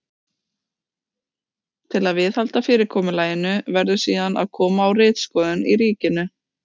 Til að viðhalda fyrirkomulaginu verður síðan að koma á ritskoðun í ríkinu.